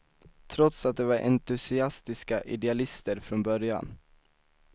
Trots att de var entusiastiska idealister från början.